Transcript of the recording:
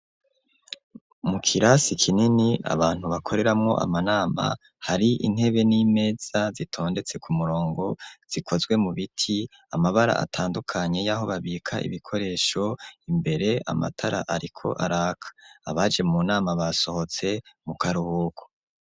mu kirasi kinini abantu bakoreramo amanama hari intebe n'imeza zitondetse ku murongo zikozwe mu biti amabara atandukanye y'aho babika ibikoresho imbere amatara ariko araka abaje munama basohotse mu karuhuku